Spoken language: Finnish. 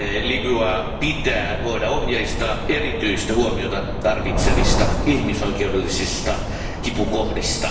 Libyaa pitää voida ohjeistaa erityistä huomiota tarvitsevista ihmisoikeudellisista kipukohdista.